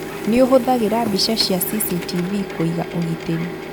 Nĩũhũthagĩra mbica cia CCTV kũiga ũgitĩri